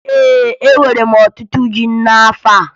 Ee, eworo m ọtụtụ ji n'afọ a